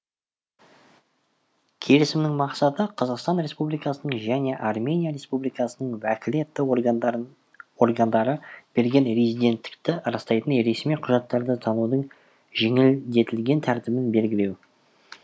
келісімнің мақсаты қазақстан республикасының және армения республикасының уәкілетті органдары берген резиденттікті растайтын ресми құжаттарды танудың жеңілдетілген тәртібін белгілеу